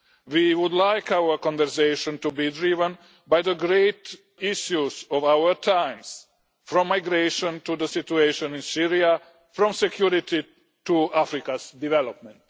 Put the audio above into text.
We would like our conversation to be driven by the great issues of our times, from migration to the situation in Syria, from security to Africa's development.